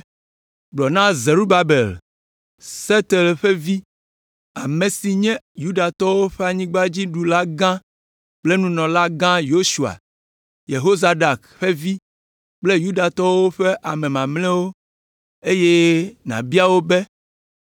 “Gblɔ na Zerubabel, Sealtiel ƒe vi, ame si nye Yudatɔwo ƒe anyigbadziɖulagã kple nunɔlaga Yosua, Yehozadak ƒe vi kple Yudatɔwo ƒe ame mamlɛawo eye nàbia wo be,